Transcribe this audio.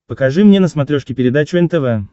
покажи мне на смотрешке передачу нтв